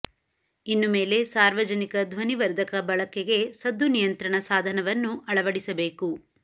ಇನ್ನು ಮೇಲೆ ಸಾರ್ವಜನಿಕ ಧ್ವನಿವರ್ಧಕ ಬಳಕೆಗೆ ಸದ್ದು ನಿಯಂತ್ರಣ ಸಾಧನವನ್ನು ಅಳವಡಿಸಬೇಕು